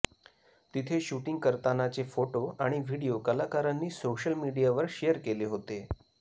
तिथे शूटिंग करतानाचे फोटो आणि व्हिडीओ कलाकारांनी सोशल मीडियावर शेअर केले होते